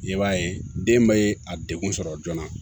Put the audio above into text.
I b'a ye den bɛ a degun sɔrɔ joona